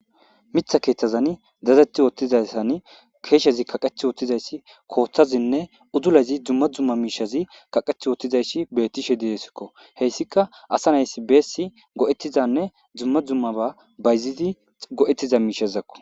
mitha keeththazan dazeti woottizassan keeshezi kaqeth wottizayssi kooththazinne udulazi dumma d umma miishazi kaqeth wottizayssi bettishe diesikko heyssika asa naysi beessi go7ettizanne dzumma dzumma ba bayzidi go7ettiza miishazakko